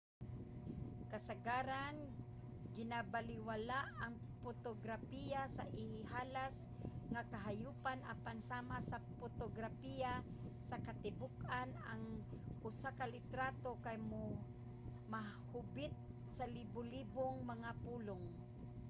kasagaran ginabalewala ang potograpiya sa ihalas nga kahayopan apan sama sa potograpiya sa katibuk-an ang usa ka litrato kay mahubit sa libolibong mga pulong